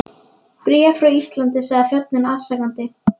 Bréf frá Íslandi, sagði þjónninn afsakandi.